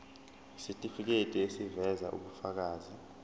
isitifiketi eziveza ubufakazi